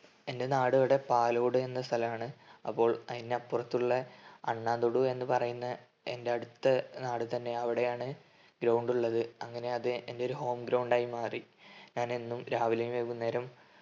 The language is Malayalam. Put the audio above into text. എൻ്റെ നാടിവിടെ പാലോട് എന്ന സ്ഥലാണ്. അപ്പോൾ അയിനപ്പർത്തുള്ളെ അണ്ണാതുടു എന്ന പറയുന്ന എൻ്റെ അടുത്ത നാട് തന്നെ. അവിടെയാണ് ground ഉള്ളത്. അങ്ങനെ അത് എൻ്റെ ഒരു home ground ആയി അത് മാറി. ഞാൻ എന്നും രാവിലേം വൈകുന്നേരോം